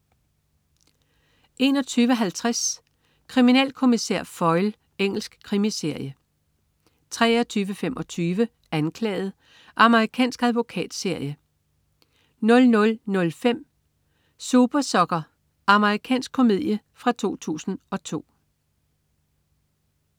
21.50 Kriminalkommissær Foyle. Engelsk krimiserie 23.25 Anklaget. Amerikansk advokatserie 00.05 Super Sucker. Amerikansk komedie fra 2002